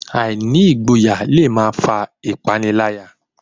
Àìní ìgboyà le máa fà ìpániláyà